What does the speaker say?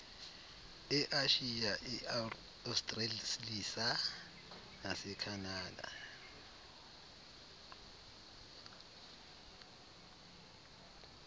eashiya eaustralisa nasekhanada